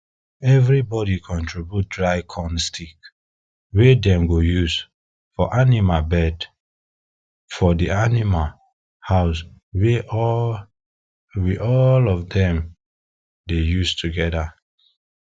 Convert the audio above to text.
everybody contribute dry corn sticks wey dem go use for animal bed for de animal house we all of dem dey use togeda